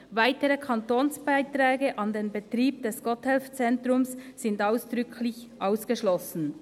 «Weitere Kantonsbeiträge an den Betrieb des Gotthelf-Zentrums sind ausdrücklich ausgeschlossen.